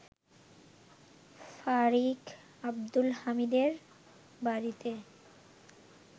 ফারিক আব্দুল হামিদের বাড়িতে